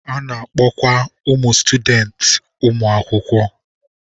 A na-akpọkwa ụmụ sutudenti ụmụ akwụkwọ.